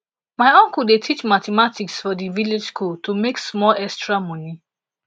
my uncle dey teach mathematics for di village school to make small extra moni